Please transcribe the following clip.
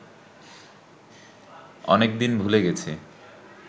অনেকদিন ভুলে গেছি